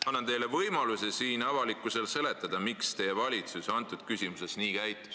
Annan teile võimaluse siin avalikkusele seletada, miks teie valitsus selles küsimuses nii käitus.